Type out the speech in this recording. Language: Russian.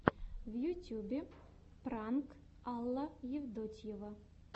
в ютьюбе пранк алла евтодьева